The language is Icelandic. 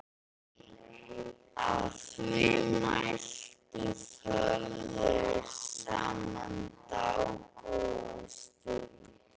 Að því mæltu þögðu þeir saman dágóða stund.